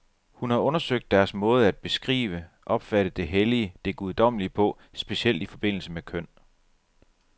Hun har undersøgt deres måde at beskrive, opfatte det hellige, det guddommelige på, specielt i forbindelse med køn.